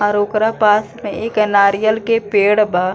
आर ओकरा पास में एक नारियल के पेड़ बा।